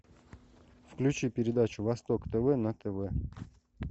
включи передачу восток тв на тв